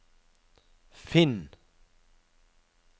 finn